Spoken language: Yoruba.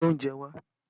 Gbé oúnjẹ wá!